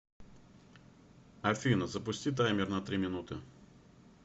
афина запусти таймер на три минуты